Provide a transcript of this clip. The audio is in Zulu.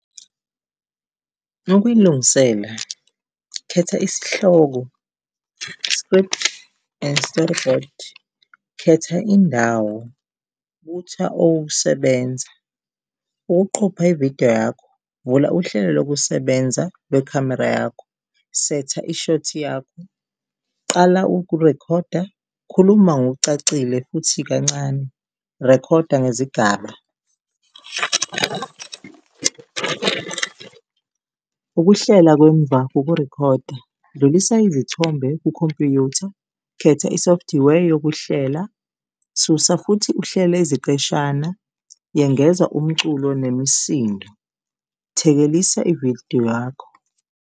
Ukuyilungisela, khetha isihloko, script and storyboard, khetha indawo, butha okokusebenza. Ukuqopha ividiyo yakho, vula uhlelo lokusebenza lwekhamera yakho, setha i-short yakho, qala ukurekhoda, khuluma ngokucacile futhi kancane, rekhoda ngezigaba. Ukuhlela kwemva kokurikhoda, dlulisa izithombe kukhompyutha, khetha isofthiwe yokuhlela, susa futhi uhlele iziqeshana, yengeza umculo nemisindo, thekelisa ividiyo yakho.